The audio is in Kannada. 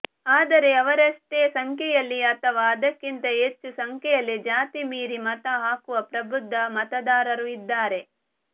ಆದರೆ ಅವರಷ್ಟೇ ಸಂಖ್ಯೆಯಲ್ಲಿ ಅಥವಾ ಅದಕ್ಕಿಂತ ಹೆಚ್ಚು ಸಂಖ್ಯೆಯಲ್ಲಿ ಜಾತಿ ಮೀರಿ ಮತ ಹಾಕುವ ಪ್ರಬುದ್ಧ ಮತದಾರರೂ ಇದ್ದಾರೆ